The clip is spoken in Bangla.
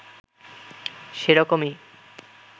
সে রকমই